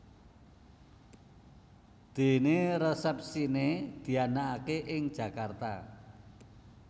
Dené resepsiné dianakaké ing Jakarta